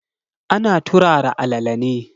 Ana turara alala ne.